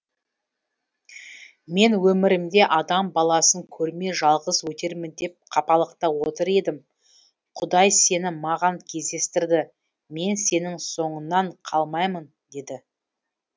мен өмірімде адам баласын көрмей жалғыз өтермін деп қапалықта отыр едім құдай сені маған кездестірді мен сенің соңыңнан қалмаймын деді